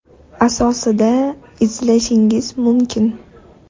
asosida izlashingiz mumkin.